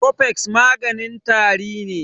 Cofex maganin tari ne